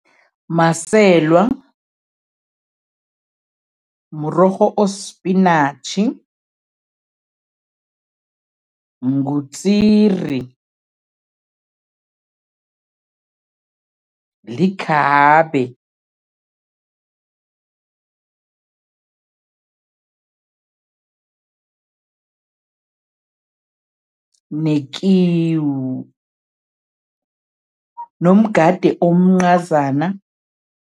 Maselwa, mrorho osipinatjhi, ngutsiri, likhabe nekiwu nomgade omncazana.